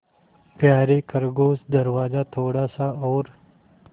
यारे खरगोश दरवाज़ा थोड़ा सा और